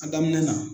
A daminɛ na